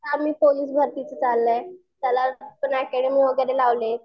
Police भरतीचं चाललंय. त्याला ऍकेडमी वगैरे लावले.